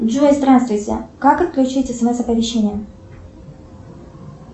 джой здравствуйте как отключить смс оповещение